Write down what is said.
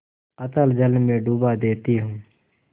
अतल जल में डुबा देती हूँ